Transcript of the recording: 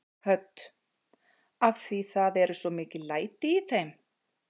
Hödd: Af því það eru svo mikil læti í þeim?